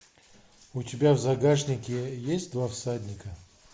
у тебя в загашнике есть два всадника